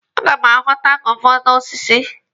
A ga m aghọta guava n'osisi.